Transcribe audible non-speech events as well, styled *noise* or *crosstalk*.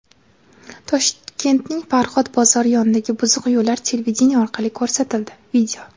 Toshkentning Farhod bozori yonidagi buzuq yo‘llar televideniye orqali ko‘rsatildi. *video*